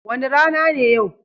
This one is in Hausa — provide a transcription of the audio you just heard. Wani rana ne yau?